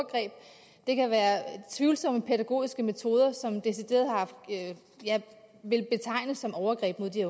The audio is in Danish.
det kan være tvivlsomme pædagogiske metoder som jeg vil betegne som overgreb mod de